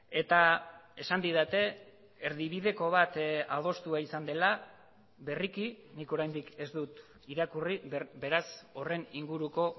eta esan didate erdibideko bat adostua izan dela berriki nik oraindik ez dut irakurri beraz horren inguruko